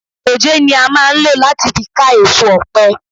Dòjé ni a máa ń lò láti fi ká èso ọ̀pẹ.